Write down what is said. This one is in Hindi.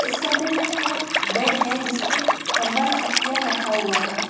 इस कमरे में दो बेड हैं जिस पे कंबल तकिया रखा हुआ है।